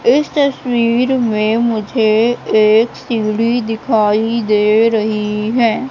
इस तस्वीर में मुझे एक सीढ़ी दिखाई दे रही है।